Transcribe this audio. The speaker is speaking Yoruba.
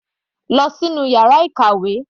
Lọ sínú yàrá ìkàwé.